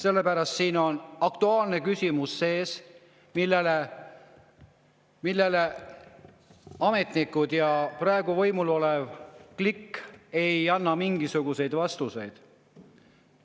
Küsimus on aktuaalne, aga ametnikud ja praegu võimul olev klikk ei anna selle kohta mingisuguseid vastuseid.